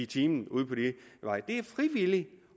time ude på de veje det er frivilligt